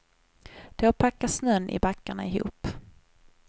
Då packas snön i backarna ihop.